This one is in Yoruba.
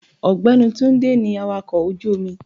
Ògbẹ́ni Túndé ní awàkọ̀ ojú omi.